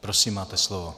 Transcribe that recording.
Prosím, máte slovo.